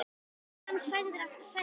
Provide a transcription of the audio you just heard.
Er hann sagður hafa særst.